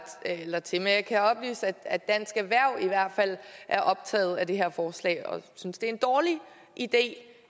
eller til men jeg kan oplyse at at dansk erhverv i hvert fald er optaget af det her forslag og de synes det er en dårlig idé